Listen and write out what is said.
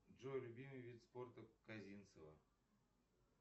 джой любимый вид спорта козинцева